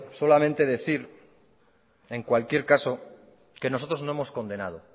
solamente decir en cualquier caso que nosotros no hemos condenado